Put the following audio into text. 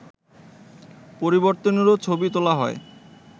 পরির্তনেরও ছবি তোলা হয়